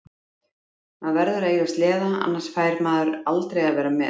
Maður verður að eiga sleða annars fær maður aldrei að vera með.